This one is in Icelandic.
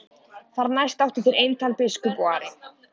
Þar næst áttu þeir eintal biskup og Ari.